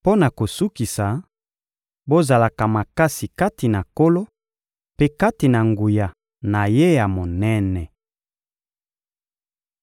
Mpo na kosukisa, bozalaka makasi kati na Nkolo mpe kati na nguya na Ye ya monene.